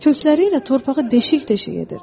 Kökləri ilə torpağı deşik-deşik edir.